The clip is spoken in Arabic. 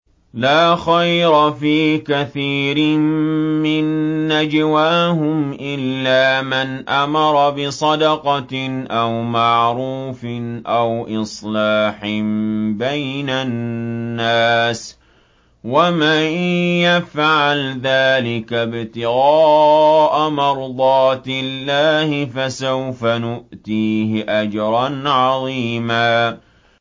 ۞ لَّا خَيْرَ فِي كَثِيرٍ مِّن نَّجْوَاهُمْ إِلَّا مَنْ أَمَرَ بِصَدَقَةٍ أَوْ مَعْرُوفٍ أَوْ إِصْلَاحٍ بَيْنَ النَّاسِ ۚ وَمَن يَفْعَلْ ذَٰلِكَ ابْتِغَاءَ مَرْضَاتِ اللَّهِ فَسَوْفَ نُؤْتِيهِ أَجْرًا عَظِيمًا